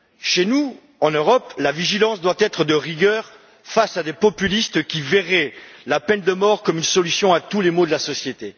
Chez nous, en Europe, la vigilance doit être de rigueur face à des populistes qui verraient la peine de mort comme solution à tous les maux de la société.